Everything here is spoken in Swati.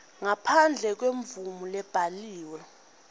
ngaphandle kwemvumo lebhaliwe